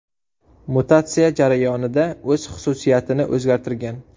Mutatsiya jarayonida o‘z xususiyatini o‘zgartirgan.